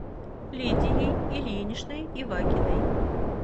лидией ильиничной ивакиной